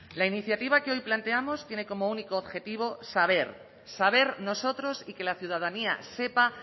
la iniciativa que hoy planteamos tiene como único objetivo saber saber nosotros y que la ciudadanía sepa